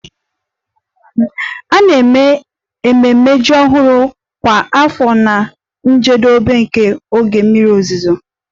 A na-eme ememme ji ọhụrụ kwa afọ na njedebe nke oge mmiri ozuzo